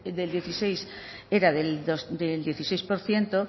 de dieciséis era del dieciséis por ciento